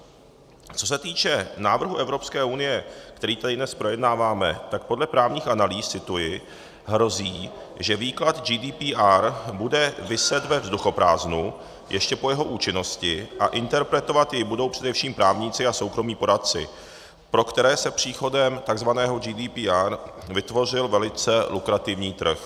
Co se týče návrhu Evropské unie, který tady dnes projednáváme, tak podle právních analýz - cituji: hrozí, že výklad GDPR bude viset ve vzduchoprázdnu ještě po jeho účinnosti a interpretovat jej budou především právníci a soukromí poradci, pro které se příchodem tzv. GDPR vytvořil velice lukrativní trh.